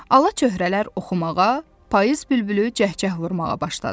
Ala çöhrələr oxumağa, payız bülbülü cəhcəh vurmağa başladı.